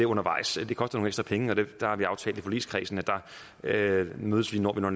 undervejs det koster nogle ekstra penge og der har vi aftalt i forligskredsen at vi mødes når vi når